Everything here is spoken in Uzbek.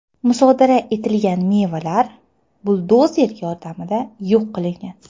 Musodara etilgan mevalar buldozer yordamida yo‘q qilingan.